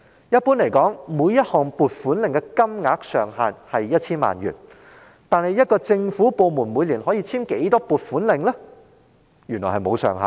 一般而言，每一項撥款令所涉金額上限為 1,000 萬元，但每個政府部門每年可以簽署的撥款令數目，原來並無上限。